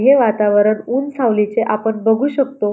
हे वतावरण ऊन सावलीचे आपण बघू शकतो.